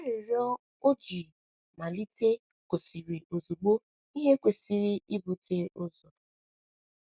Arịrịọ o ji malite gosiri ozugbo ihe kwesịrị ibute ụzọ.